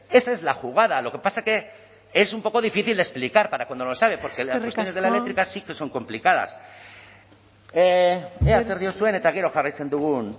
esa es la jugada lo que pasa que es un poco difícil de explicar para cuando lo sabe porque las cuestiones de la eléctrica sí que son complicadas ea zer diozuen eta gero jarraitzen dugun